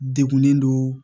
Degunnen don